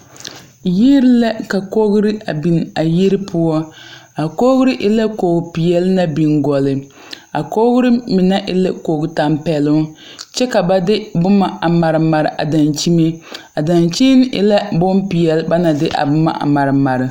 Yiri lɛ ka kogre a biŋ a yiri poɔ a kogre e la koge peɛɛli na biŋ gɔlleŋ a kogre mine e la kogtampɛloŋ kyɛ ka ba de bomma a mare mare a dankyime a dankyini e la bonpeɛɛle ba na de a bomma a mare mare ne.